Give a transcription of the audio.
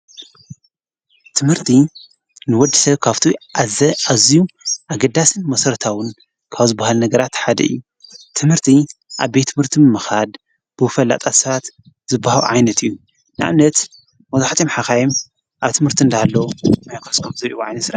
ትምህርቲ ንወድ ሰብ ካፍቱ ኣዘ ኣዙዩ ኣገዳስን መሠርታውን ካብ ዝብሃል ነገራት ሓደ እዩ ትምህርቲ ኣብ ቤትምህርቲ ምምኻድ ብፈላጣት ሰባት ዝዋሃብ ዓይነት እዩ ንእምነት መብዛሓትኦም ሓኻየም ኣብ ትምህርቲ እንዳሃለዉ ናይ ገዝኦም ዘይውዓል ሕደር ይሰርሑ።